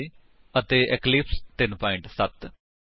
ਜੇਕਰ ਨਹੀਂ ਤਾਂ ਉਚਿਤ ਟਿਊਟੋਰਿਅਲ ਲਈ ਸਾਡੀ ਵੇਬਸਾਈਟ ਉੱਤੇ ਜਾਓ